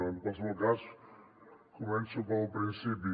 en qualsevol cas començo pel principi